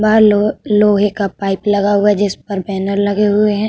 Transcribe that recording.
बाहर लो लोहे का पाइप लगा हुआ है। जिस पर बैनर लगे हुए हैं।